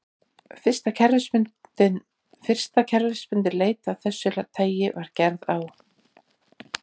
Fyrsta kerfisbundin leit af þessu tagi var gerð á